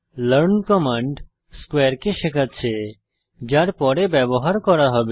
learn command স্কোয়ারে কে শেখাচ্ছে যার পরে ব্যবহার করা হবে